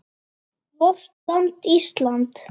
VORT LAND ÍSLAND